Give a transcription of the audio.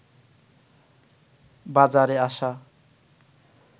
বাজারে আসা